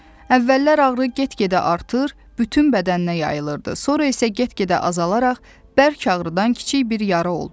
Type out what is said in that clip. Əvvəllər ağrı get-gedə artır, bütün bədəninə yayılırdı, sonra isə get-gedə azalaraq bərk ağrıdan kiçik bir yara oldu.